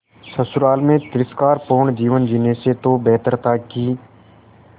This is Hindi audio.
ससुराल में तिरस्कार पूर्ण जीवन जीने से तो बेहतर था कि